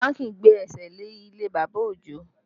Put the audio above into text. Bánkì gbé ẹsẹ̀ lé ilé bàbá Ojo